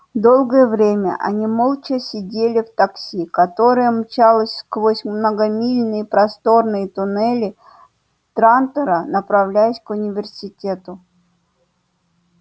долгое время они молча сидели в такси которое мчалось сквозь многомильные просторные туннели трантора направляясь к университету